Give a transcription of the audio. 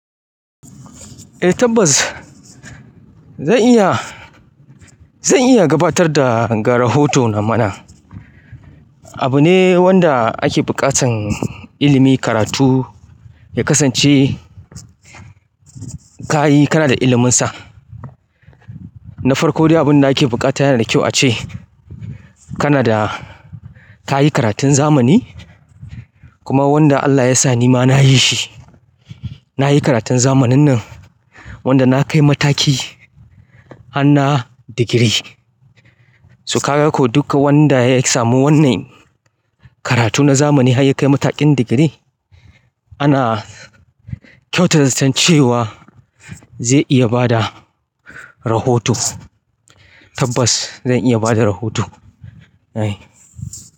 Eh tabbas zan iya, zan iya gabatar da ga rahoto na mana. Abu ne wanda ake buƙatar ilimi, karatu ya kasance ka yi kana da iliminsa. Na farko dai abin da ake buƙata yana da kyau ace kana da ka yi karatun zamani kuma wanda Allah ya sa ni ma na yi shi. Na yi karatun zamanin nan wanda na kai mataki hana na digiri. Su ka ga ko duka wanda ya samu wannan karatu na zamani har ya kai matakin digiri ana kyautata ce cewa zai iya ba da rahoto. Tabbas zan iya ba da rahoto.